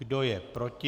Kdo je proti?